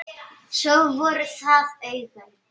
Svo voru það augun.